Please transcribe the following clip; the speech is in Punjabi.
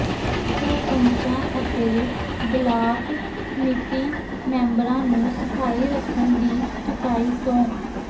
ਸਰਪੰਚਾਂ ਅਤੇ ਬਲਾਕ ਸਮਿਤੀ ਮੈਂਬਰਾਂ ਨੂੰ ਸਫ਼ਾਈ ਰੱਖਣ ਦੀ ਚੁਕਾਈ ਸਹੁੰ